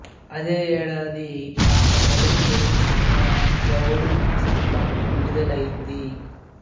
అదే ఏడాది ఆమె మొదటి తెలుగు సినిమా ఎవడు సినిమా విడుదలైంది